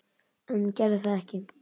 En gerði það ekki.